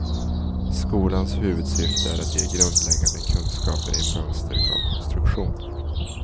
Skolans huvudsyfte är att ge grundläggande kunskaper i mönsterkonstruktion.